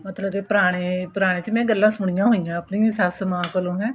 ਮਤਲਬ ਕਿ ਪੁਰਾਣੇ ਪੁਰਾਣੇ ਚ ਗੱਲਾਂ ਸੁਣੀਆਂ ਹੋਈਆਂ ਏ ਆਪਣੀ ਸੱਸ਼ ਮਾਂ ਕੋਲ ਇਹ